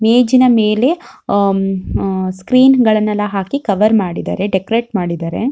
ಮೇಜಿನ ಮೇಲೆ um ah screen ಗಳನ್ನೆಲ್ಲಾ ಹಾಕಿ ಕವರ್ ಮಾಡಿದಾರೆ ಡೆಕೋರಟ್ ಮಾಡಿದಾರೆ.